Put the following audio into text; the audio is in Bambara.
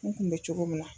N kun bɛ cogo min na